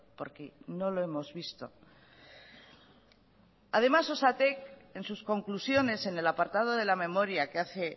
porque no lo hemos visto además osatek en sus conclusiones en el apartado de la memoria que hace